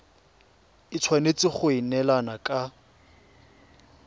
e tshwanetse go neelana ka